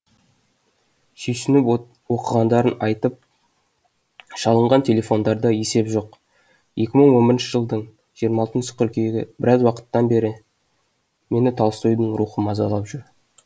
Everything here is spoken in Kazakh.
сүйсініп оқығандарын айтып шалынған телефондарда есеп жоқ екі мың он бірінші жылдың жиырма алтыншы қыркүйегі біраз уақыттан бері мені толстойдың рухы мазалап жүр